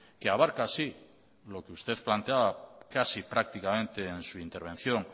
que abarca así lo que usted planteaba casi prácticamente en su intervención